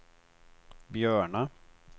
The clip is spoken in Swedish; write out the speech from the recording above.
Björna